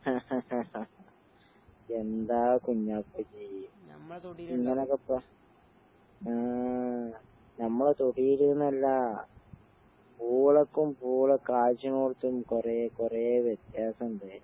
എന്താ കുഞ്ഞാക്കജ്ജ്? ഇങ്ങനെ വെക്കാ? ആഹ് ഞമ്മളെ തൊടീല്ന്നല്ല, പൂളയ്ക്കും പൂള കായ്ച്ച്നോടത്തും കൊറേക്കൊറേ വ്യത്യാസിണ്ട്.